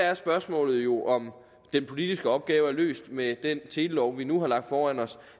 er spørgsmålet jo om den politiske opgave er løst med det forslag til en telelov vi nu har foran os